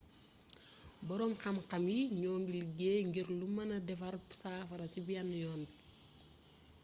boroom xamxam yi ñoo ngi liggéey ngir lu mëne defar safara ci benn yoon bi